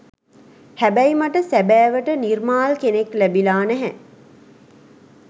හැබැයි මට සැබෑවට නිර්මාල් කෙනෙක් ලැබිලා නැහැ.